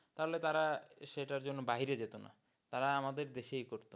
তাহলে তারা সেটার জন্য বাহিরে যেতোনা তারা আমাদের দেশেই করতো।